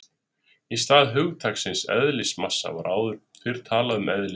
Í stað hugtaksins eðlismassa var áður fyrr talað um eðlisþyngd.